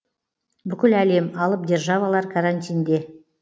бүкіл әлем алып державалар карантинде